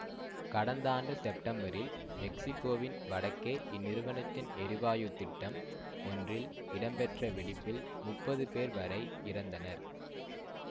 கடந்த ஆண்டு செப்டம்பரில் மெக்சிக்கோவின் வடக்கே இந்நிறுவனத்தின் எரிவாயுத் திட்டம் ஒன்றில் இடம்பெற்ற வெடிப்பில் முப்பது பேர் வரை இறந்தனர்